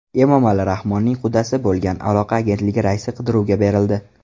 Emomali Rahmonning qudasi bo‘lgan Aloqa agentligi raisi qidiruvga berildi.